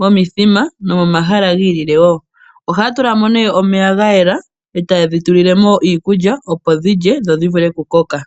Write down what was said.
momithima nomomahala giilile woo ohaya tulamo nee omeya gayela opo dhilye dho dhivule okukoka.